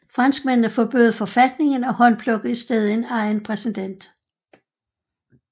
Franskmændene forbød forfatningen og håndplukkede i stedet en egen præsident